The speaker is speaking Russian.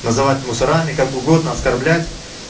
называют мусорами как угодно оскорблять